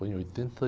Foi em oitenta